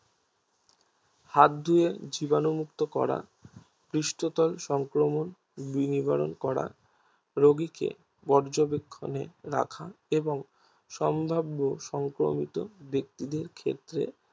হাত ধুয়ে জীবাণু মুক্ত করা পৃষ্টতর সংক্রমণ নিবরণ করা রোগীকে পর্যবেক্ষণে রাখা এবং সম্ভাব্য সংক্রমিত ব্যাক্তিদের ক্ষেত্রে